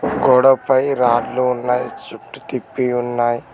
గోడపై రాడ్లు ఉన్నాయ్ చుట్టు తిప్పి ఉన్నాయ్.